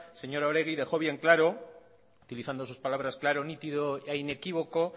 señora oregi dejó bien claro utilizando sus palabras nítido e inequívoco